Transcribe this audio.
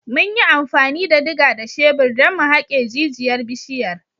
Mun yi amfani da diga da shebir don mu haƙe jijiyar bishiyar.